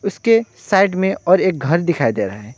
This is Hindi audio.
इसके साइड में और एक घर दिखाई दे रहा है।